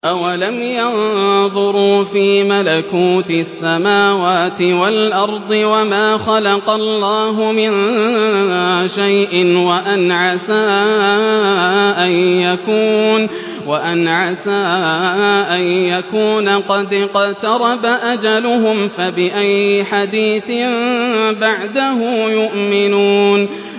أَوَلَمْ يَنظُرُوا فِي مَلَكُوتِ السَّمَاوَاتِ وَالْأَرْضِ وَمَا خَلَقَ اللَّهُ مِن شَيْءٍ وَأَنْ عَسَىٰ أَن يَكُونَ قَدِ اقْتَرَبَ أَجَلُهُمْ ۖ فَبِأَيِّ حَدِيثٍ بَعْدَهُ يُؤْمِنُونَ